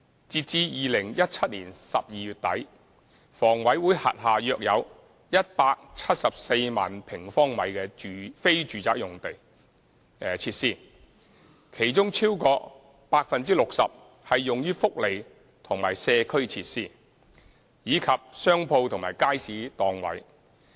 截至2017年12月底，房委會轄下約有174萬平方米的非住宅設施，其中超過 60% 是用於福利及社區設施，以及商鋪和街市檔位。